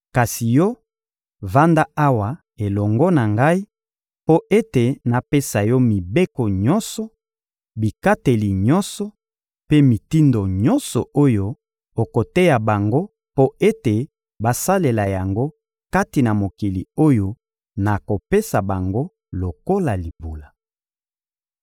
Kasi yo, vanda awa elongo na Ngai mpo ete napesa yo mibeko nyonso, bikateli nyonso, mpe mitindo nyonso oyo okoteya bango mpo ete basalela yango kati na mokili oyo nakopesa bango lokola libula.»